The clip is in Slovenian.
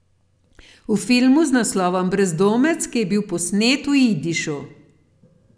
V filmu z naslovom Brezdomec, ki je bil posnet v jidišu.